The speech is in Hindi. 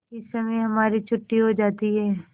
इस समय हमारी छुट्टी हो जाती है